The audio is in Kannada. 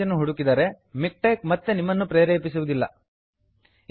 ನೀವು ಇದನ್ನು ಮಾಡಿದಾಗ ಇದು ಕಳೆದುಹೋಗಿರುವ ಪ್ಯಾಕೇಜನ್ನು ಹುಡುಕಿದರೆ ಮಿಕ್ಟೆಕ್ ಮತ್ತೆ ನಿಮ್ಮನ್ನು ಪ್ರೇರೇಪಿಸುವುದಿಲ್ಲ